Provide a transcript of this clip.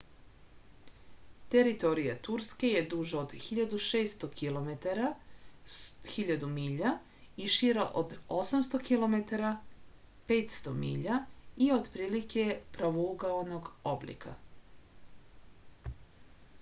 територија турске је дужа од 1600 километара 1000 миља и шира од 800 km 500 mi и отприлике је правоугаоног облика